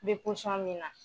Bɛ min na.